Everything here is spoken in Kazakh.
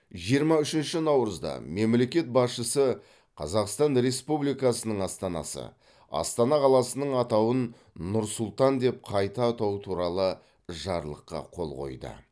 жиырма үшінші наурызда мемлекет басшысы қазақстан республикасының астанасы астана қаласының атауын нұр сұлтан деп қайта атау туралы жарлыққа қол қойды